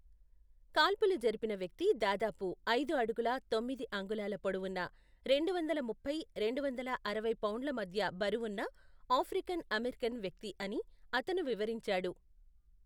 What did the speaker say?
కాల్పులు జరిపిన వ్యక్తి దాదాపు ఐదు అడుగుల తొమ్మిది అంగుళాల పొడవున్న, రెండువందల ముప్పై, రెండువందల అరవై పౌండ్ల మధ్య బరువున్న ఆఫ్రికన్ అమెరికన్ వ్యక్తి అని అతను వివరించాడు.